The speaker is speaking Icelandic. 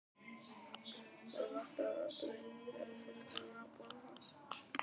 Það vantaði aldrei bréfþurrkurnar á borði hans.